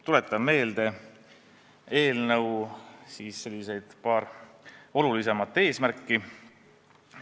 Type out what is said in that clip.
Tuletan meelde eelnõu paar olulisemat eesmärki.